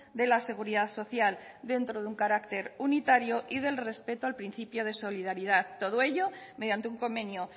de la seguridad social dentro de un carácter unitario y del respeto al principio de solidaridad todo ello mediante un convenio